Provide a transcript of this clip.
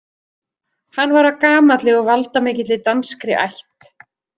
Hann var af gamalli og valdamikilli danskri ætt.